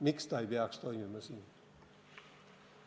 Miks ta siis siin ei peaks toimima?